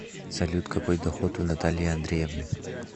салют какой доход у натальи андреевны